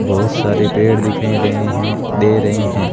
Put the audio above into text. बहुत सारे पेड़ दिखाई दे हैं दे रहे हैं।